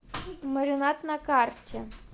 маринад на карте